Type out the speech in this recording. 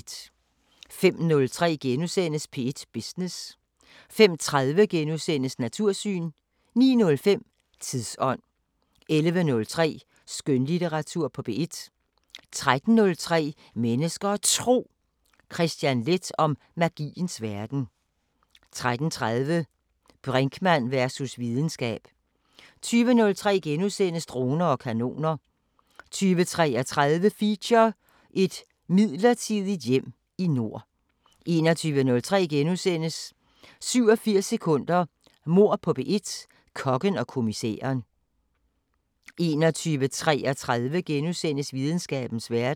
05:03: P1 Business * 05:30: Natursyn * 09:05: Tidsånd 11:03: Skønlitteratur på P1 13:03: Mennesker og Tro: Kristian Leth om magiens verden 13:30: Brinkmann versus videnskab 20:03: Droner og kanoner * 20:33: Feature: Et midlertidigt hjem i nord 21:03: 87 sekunder – Mord på P1: Kokken og kommissæren * 21:33: Videnskabens Verden *